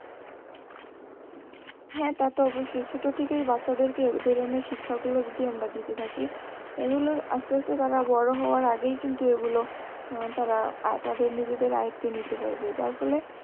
হ্যা তাতো অবশ্যই ছোট থেকেই বাচ্চাদেরকে এধরণের শিক্ষা গুলো যদি আমরা দিতে থাকি এগুলো আস্তে আস্তে তারা বড় হওয়ার আগেই কিন্তু এগুলো আহ তারা নিজেদের আয়ত্তে নিতে পারবে যার ফলে